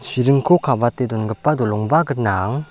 chiringko kabate dongipa dolongba gnang.